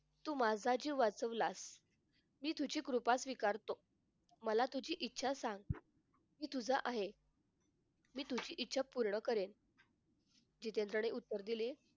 तू माझा जीव वाचवलास मी तुझी कृपा स्वीकारतो मला तुझी इच्छा सांग तू तुझा आहे मी तुझी इच्छा पूर्ण कारेन जितेंद्रने उत्तर दिले.